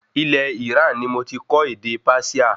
Ilẹ̀ Iran ní mo tí kọ́ ède Persia